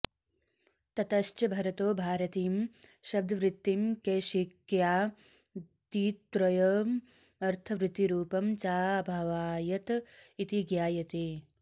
ततश्च भरतो भारतीं शब्दवृत्तिं कैशिक्यादित्रयमर्थवृत्तिरुपं चाभावयत् इति ज्ञायते